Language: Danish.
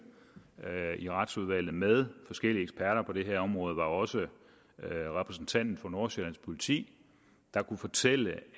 i retsudvalget med forskellige eksperter på det her område var også at repræsentanten for nordsjælland politi kunne fortælle